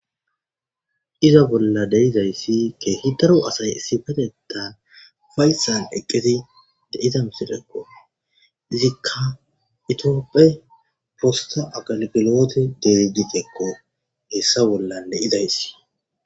iza bolla deizayssi keehi daro asay isifeteta fayssan eqqeti de izam sitekko izikka itiopphe prosta agalgelote de gitekko hessa bollan deidayssi